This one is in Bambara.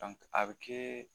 a bɛ kɛ